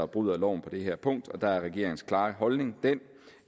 bryder loven på det her punkt og der er regeringens klare holdning den